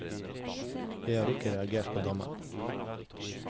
Jeg har ikke reagert på dommen.